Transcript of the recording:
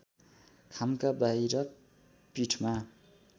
खामका बाहिर पीठमा